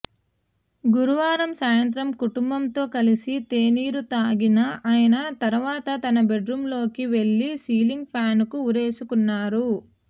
గురువారం సాయంత్రం కుటుంబంతో కలిసి తేనీరు తాగిన ఆయన తర్వాత తన బెడ్రూమ్లోకి వెళ్లి సీలింగ్ ఫ్యాన్కు ఉరేసుకున్నారు